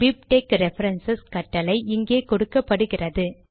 BibTeX reference கட்டளை இங்கே கொடுக்கப்படுகிறது